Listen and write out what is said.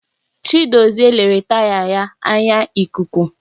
Chidozie lere taya ya anya ikuku